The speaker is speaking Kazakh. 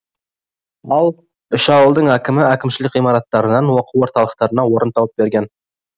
ал үш ауылдың әкімі әкімшілік ғимараттарынан оқу орталықтарына орын тауып берген